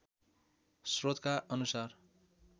स्रोतका अनुसार